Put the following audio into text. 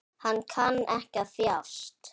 Hann kann ekki að þjást.